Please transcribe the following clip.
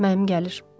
Mənim gəlir.